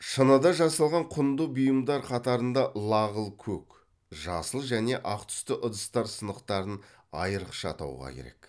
шыныдан жасалған құнды бұйымдар қатарында лағыл көк жасыл және ақ түсті ыдыстар сынықтарын айрықша атауға керек